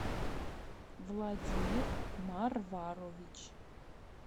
владимир марварович